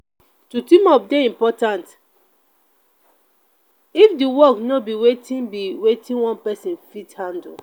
to team up de important if di work no be wetin be wetin one persin fit handle